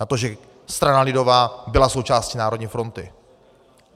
Na to, že strana lidová byla součástí Národní fronty.